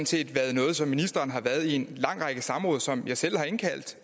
set været noget som ministeren har været i en lang række samråd om som jeg selv har indkaldt